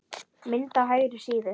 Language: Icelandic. Mynd á hægri síðu.